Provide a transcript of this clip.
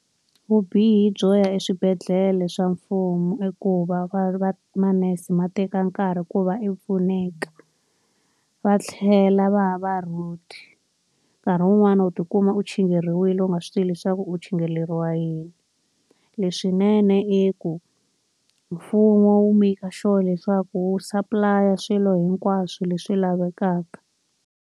Vubihi byo ya eswibedhlele swa mfumo i ku va va va manese ma teka nkarhi ku va i pfuneka, va tlhela va ya va rude. Nkarhi wun'wani wuli tikuma u chingheriwile u nga swi tivi leswaku u chingheriwela yini. Leswinene i ku mfumo wu make-a sure leswaku wu supply-a swilo hinkwaswo leswi lavekaka.